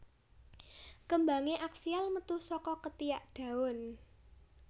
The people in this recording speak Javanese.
Kembangé aksial metu saka ketiak daun